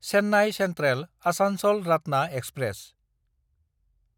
Chennai सेन्ट्रेल–आसानसल रातना express